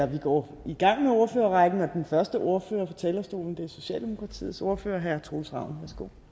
vi går i gang med ordførerrækken og den første ordfører på talerstolen er socialdemokratiets ordfører herre troels ravn